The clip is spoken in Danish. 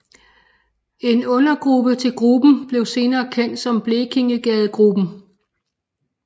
En undergruppe til gruppen blev senere kendt som Blekingegadegruppen